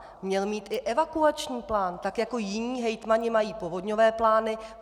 Měl mít i evakuační plán, tak jako jiní hejtmani mají povodňové plány.